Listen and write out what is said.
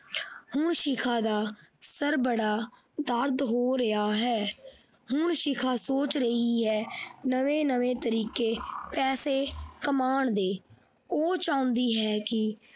ਹੁਣ ਸ਼ਿਖਾ ਦਾ ਸਿਰ ਬੜਾ ਦਰਦ ਹੋ ਰਿਹਾ ਹੈ ਹੁਣ ਸ਼ਿਖਾ ਸੋਚ ਰਹੀ ਹੈ ਨਵੇਂ ਨਵੇਂ ਤਰੀਕੇ ਪੈਸੇ ਕਮਾਉਣ ਦੇ ਉਹ ਚਾਹੁੰਦੀ ਹੈ ਕਿ।